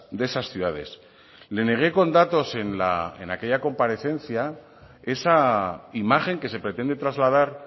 de esas ciudades le negué con datos en aquella comparecencia esa imagen que se pretende trasladar